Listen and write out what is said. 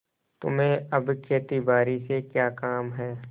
तुम्हें अब खेतीबारी से क्या काम है